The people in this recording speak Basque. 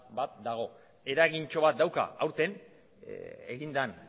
bat dago eragintxo bat dauka aurten egin den